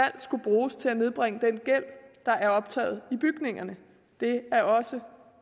skulle bruges til at nedbringe den gæld der er optaget i bygningerne det er også